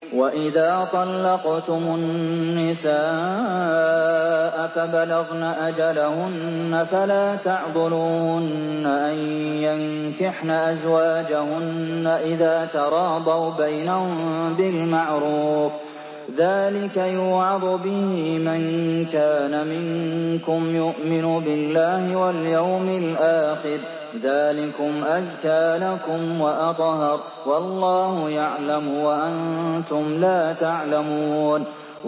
وَإِذَا طَلَّقْتُمُ النِّسَاءَ فَبَلَغْنَ أَجَلَهُنَّ فَلَا تَعْضُلُوهُنَّ أَن يَنكِحْنَ أَزْوَاجَهُنَّ إِذَا تَرَاضَوْا بَيْنَهُم بِالْمَعْرُوفِ ۗ ذَٰلِكَ يُوعَظُ بِهِ مَن كَانَ مِنكُمْ يُؤْمِنُ بِاللَّهِ وَالْيَوْمِ الْآخِرِ ۗ ذَٰلِكُمْ أَزْكَىٰ لَكُمْ وَأَطْهَرُ ۗ وَاللَّهُ يَعْلَمُ وَأَنتُمْ لَا تَعْلَمُونَ